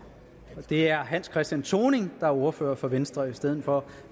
det er herre hans christian thoning der er ordfører for venstre i stedet for